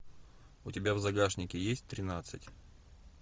у тебя в загашнике есть тринадцать